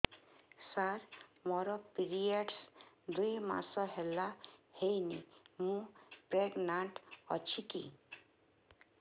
ସାର ମୋର ପିରୀଅଡ଼ସ ଦୁଇ ମାସ ହେଲା ହେଇନି ମୁ ପ୍ରେଗନାଂଟ ଅଛି କି